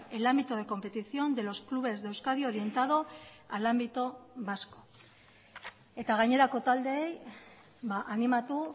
el ámbito de competición de los clubes de euskadi orientado al ámbito vasco eta gainerako taldeei animatu